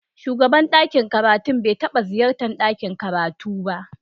Shugaban ɗakin karatu bai taɓa ziyartar ɗakin karatu ba.